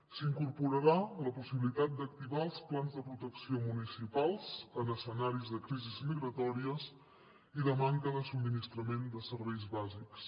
s’incorporarà la possibilitat d’activar els plans de protecció municipals en escenaris de crisis migratòries i de manca de subministrament de serveis bàsics